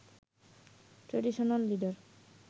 traditional leader